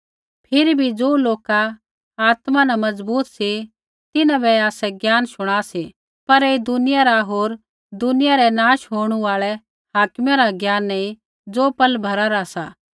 फिरी भी ज़ो लोका आत्मा न मजबूत सी तिन्हां बै आसै ज्ञान शुणा सी पर ऐई दुनिया रा होर दुनिया रै नाश होणु आल़ै हाकिमा रा ज्ञान नैंई ज़ो पल भरा रा सा